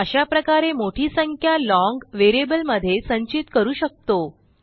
अशाप्रकारे मोठी संख्या लाँग व्हेरिएबलमध्ये संचित करू शकतो